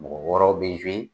Mɔgɔ wɔrɔw bɛ